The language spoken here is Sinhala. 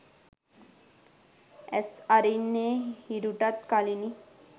ඇස් අරින්නේ හිරුටත් කලිනි